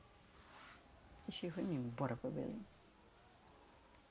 Deixei e fui-me embora para Belém.